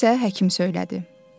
Bunu isə həkim söylədi.